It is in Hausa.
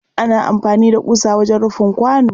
ana amfani da ƙusa wajen rufin kwano.